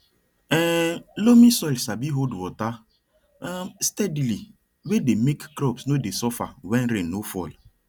um loamy soil sabi hold water um steadily way dey make crops no dey suffer when rain no fall